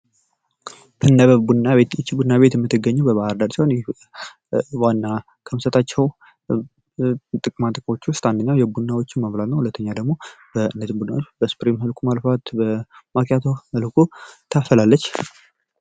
ትነበብ ቡና ይህች ቤት ቡና ቤት የምትገኘው በባህር ዳር ሲሆን ዋና ከምትሰጣቸው ጥቅማ ጥቅሞች ውስጥ አንደኛው ቡናዎች ሁለተኛ ደግሞ እነዚህን ቡናዎች በስፕሪስ በኩል በ ማኪያቶ መልኩ ታፈላለች።